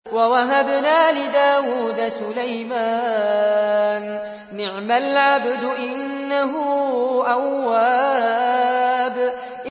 وَوَهَبْنَا لِدَاوُودَ سُلَيْمَانَ ۚ نِعْمَ الْعَبْدُ ۖ إِنَّهُ أَوَّابٌ